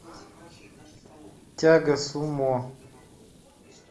тяга сумо